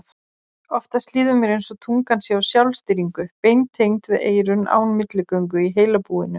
Oftast líður mér einsog tungan sé á sjálfstýringu, beintengd við eyrun án milligöngu í heilabúinu.